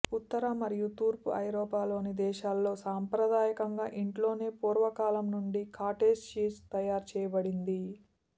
ఉత్తర మరియు తూర్పు ఐరోపాలోని దేశాల్లో సాంప్రదాయకంగా ఇంట్లోనే పూర్వకాలం నుండి కాటేజ్ చీజ్ తయారుచేయబడింది